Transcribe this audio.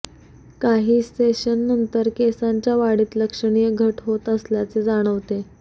काही सेशननंतर केसांच्या वाढीत लक्षणीय घट होत असल्याचे जाणवते